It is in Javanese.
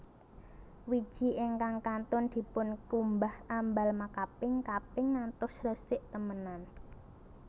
Wiji ingkang kantun dipunkumbah ambal makaping kaping ngantos resik temenan